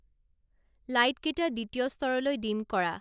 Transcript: লাইটকেইটা দ্বিতীয় স্তৰলৈ ডিম কৰা